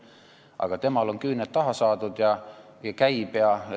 Aga tema on küüned taha saanud ja käib ringi.